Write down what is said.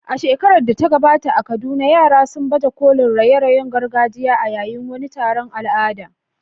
A shekarar da ta gabata a Kaduna, yara sun baje kolin raye-rayen gargajiya a yayin wani taron al'adu.